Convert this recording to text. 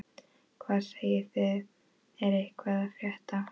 Hvað segið þið, er eitthvað að frétta?